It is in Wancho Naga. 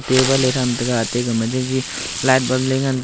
table e thram taiga ate gama jaji light bulb le ngan taiga.